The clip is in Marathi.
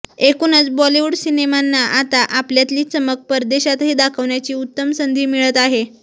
एकूणच बॉलिवूड सिनेमांना आता आपल्यातली चमक परदेशातही दाखवण्याची उत्तम संधी मिळत आहे